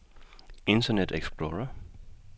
internet explorer